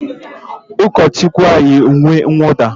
Ụkọchukwu ahụ yiri uwe nwụda